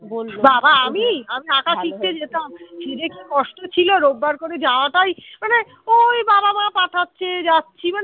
বাবা আমি আঁকা শিখতে যেতাম কি যে কষ্ট ছিল রোববার করে যাওয়াটাই মানে ওই বাবা-মা পাঠাচ্ছে যাচ্ছি মানে